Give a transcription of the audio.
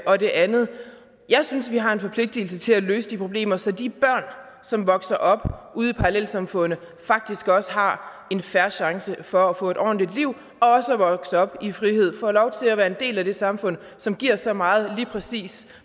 og det andet jeg synes vi har en forpligtigelse til at løse de problemer så de børn som vokser op ude i parallelsamfundene faktisk også har en fair chance for at få et ordentligt liv og også at vokse op i frihed og få lov til at være en del af det samfund som giver så meget lige præcis